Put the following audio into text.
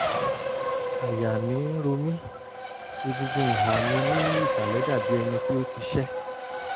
àyà mi ń ro mí; egungun ìhà mi ní ìsàlẹ̀ dàbí ẹni pé ó ti ṣẹ́